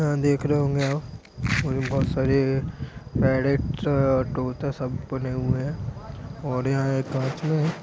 यहाँ देख रहे होंगे आप बहुत सारे पेरट तोता सब बने हुए हैं और यहाँ एक काँच है।